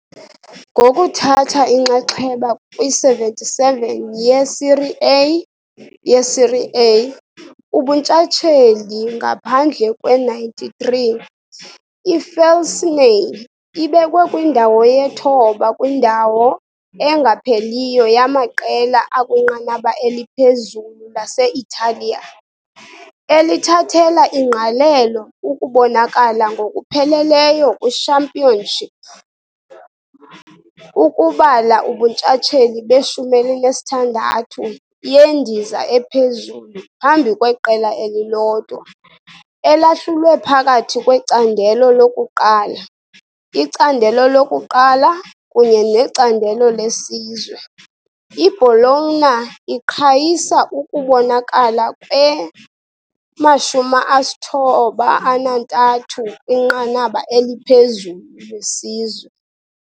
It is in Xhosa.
Ngokuthatha inxaxheba kwi-77 ye-serie A ye-serie A ubuntshatsheli ngaphandle kwe-93, i-Felsinei ibekwe kwindawo ye-9 kwindawo engapheliyo yamaqela akwinqanaba eliphezulu lase-Italiya, elithathela ingqalelo ukubonakala ngokupheleleyo kwi-Championship, ukubala ubuntshatsheli be-16 yendiza ephezulu phambi kweqela elilodwa, elahlulwe phakathi kweCandelo lokuQala, iCandelo lokuQala kunye neCandelo leSizwe, i-Bologna iqhayisa ukubonakala kwe-93 kwinqanaba eliphezulu lesizwe.